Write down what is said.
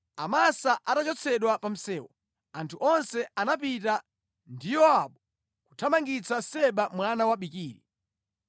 Amasa atachotsedwa pa msewu anthu onse anapita ndi Yowabu kuthamangitsa Seba mwana wa Bikiri.